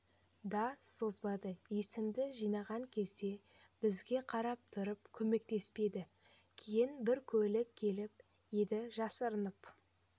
да созбады есімді жиған кезде бізге қарап тұрып көмектеспеді кейін бір көлік келіп еді жасырынып